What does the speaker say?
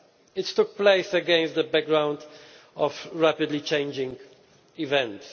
It took place against the background of rapidly changing events.